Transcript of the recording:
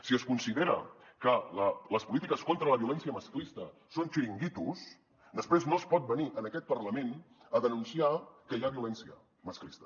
si es considera que les polítiques contra la violència masclista són xiringuitos després no es pot venir a aquest parlament a denunciar que hi ha violència masclista